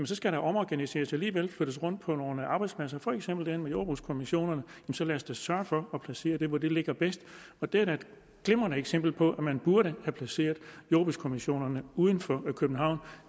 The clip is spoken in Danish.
skal der omorganiseres og alligevel flyttes rundt på nogle arbejdspladser for eksempel med jordbrugskommissionerne så lad os da sørge for at placere det der hvor det ligger bedst det er da et glimrende eksempel på at man burde have placeret jordbrugskommissionerne uden for københavn